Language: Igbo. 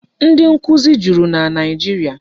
Ndị nkụzi juru na Naịjiria.